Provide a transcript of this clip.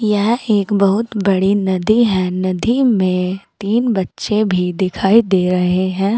यह एक बहुत बड़ी नदी है नदी में तीन बच्चे भी दिखाई दे रहे हैं।